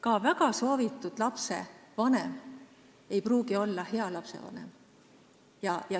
Ka väga soovitud lapse vanem ei pruugi olla hea lapsevanem.